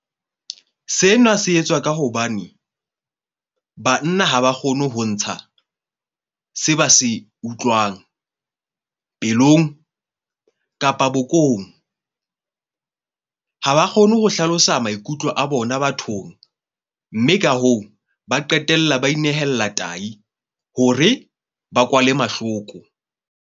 Sena se etswa ka hobane banna ha ba kgone ho ntsha se ba se utlwang pelong kapa bokong. Ha ba kgone ho hlalosa maikutlo a bona bathong, mme ka hoo, ba qetella ba inehella tahi hore ba kwale mahloko.